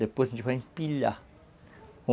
Depois a gente vai empilhar.